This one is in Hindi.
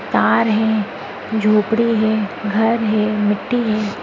तार हें झोपड़ी हे घर हे मिट्टी हे।